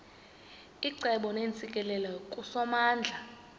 icebo neentsikelelo kusomandla